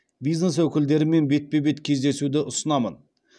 бизнес өкілдерімен бетпе бет кездесуді ұсынамын